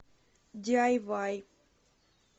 диайвай